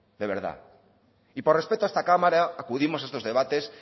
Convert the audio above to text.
de verdad y por respeto a esta cámara acudimos a estos debates